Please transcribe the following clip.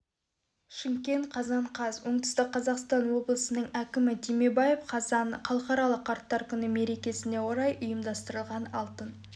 шымкент қазан қаз оңтүстік қазақстан облысының әкімі түймебаев қазан халықаралық қарттар күні мерекесіне орай ұйымдастырылған алтын